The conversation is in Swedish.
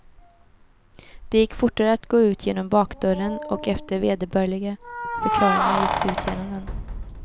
Det gick fortare att gå ut genom bakdörren, och efter vederbörliga förklaringar gick de ut genom den.